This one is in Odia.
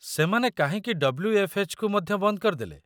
ସେମାନେ କାହିଁକି ଡବ୍ଲ୍ୟୁ.ଏଫ୍.ଏଚ୍.କୁ ମଧ୍ୟ ବନ୍ଦ କରିଦେଲେ?